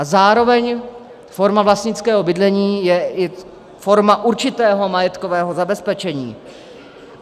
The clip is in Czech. A zároveň forma vlastnického bydlení je i forma určitého majetkového zabezpečení.